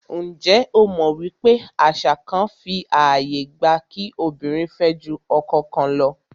Njé o mọ̀ wípé àwọn àṣà kán fí ààyè gba kí obìnrin fẹ́ jù ọkọ kan lọ?